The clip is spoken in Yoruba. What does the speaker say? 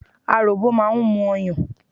Aròbò máa ń mu ọyàn.